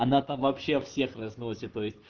она там вообще всех разносит то есть